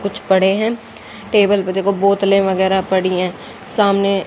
कुछ पड़े हैं टेबल पर देखो बोतलें वगैरा पड़ी है सामने--